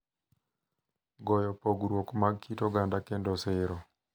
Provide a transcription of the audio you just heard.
Goyo pogruok mag kit oganda kendo siro